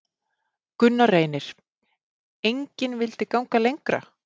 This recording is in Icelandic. Gunnar Reynir: Engin vildi ganga lengra?